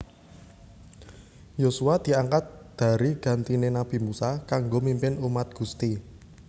Yosua diangkat dari gantiné nabi Musa kanggo mimpin umat Gusti